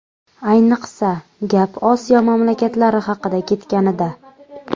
Ayniqsa, gap Osiyo mamlakatlari haqida ketganida.